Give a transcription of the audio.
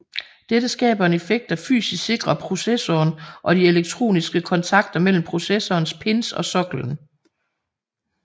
Dette skaber en effekt der fysisk sikrer processoren og de elektroniske kontakter mellem processorens pins og soklen